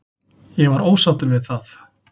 Ég var ósáttur við það.